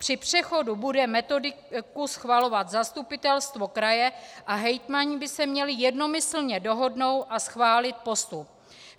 Při přechodu bude metodiku schvalovat zastupitelstvo kraje a hejtmani by se měli jednomyslně dohodnout a schválit postup.